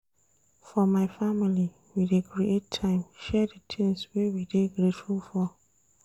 For my family, we dey create time share di tins wey we dey grateful for.